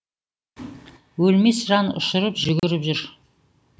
өлмес жан ұшырып жүгіріп жүр